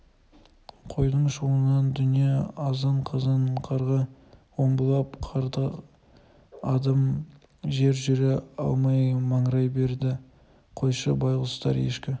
қойдың шуынан дүние азан-қазан қарға омбылап қарға адым жер жүре алмай маңырай береді қойшы байғұстар ешкі